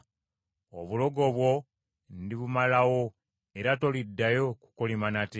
Obulogo bwo ndibumalawo era toliddayo kukolima nate.